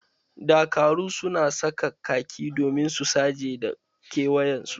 Dakaru su na saka khaki domin su saje da kewayen su.